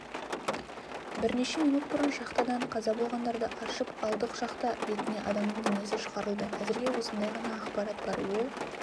бірнеше минут бұрын шахтадан қаза болғандарды аршып алдық шахта бетіне адамның денесі шығарылды әзірге осындай ғана ақпарат бар ол